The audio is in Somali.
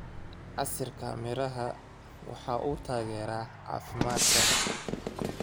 Casiirka miraha waxa uu taageeraa caafimaadka.